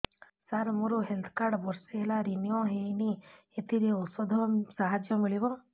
ସାର ମୋର health card ବର୍ଷେ ହେଲା ରିନିଓ ହେଇନି ଏଥିରେ ଔଷଧ ସାହାଯ୍ୟ ମିଳିବ